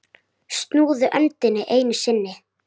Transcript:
Snúðu öndinni einu sinni.